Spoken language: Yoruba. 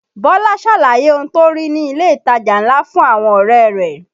Bọ́lá ṣàlàyé ohun tó rí ní ilé ìtajà ńlá fún àwọn ọ̀rẹ́ rẹ̀